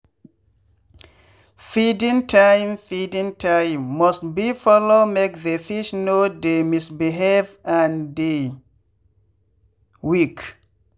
feeding time feeding time must be follow make the fish no dey misbehave and dey weak.